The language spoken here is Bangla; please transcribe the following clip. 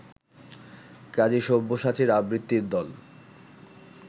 কাজী সব্যসাচীর আবৃত্তির দল